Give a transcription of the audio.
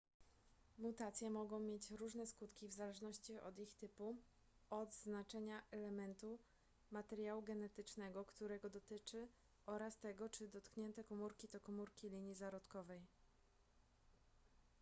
mutacje mogą mieć różne skutki w zależności od ich typu od znaczenia elementu materiału genetycznego którego dotyczy oraz tego czy dotknięte komórki to komóri linii zarodkowej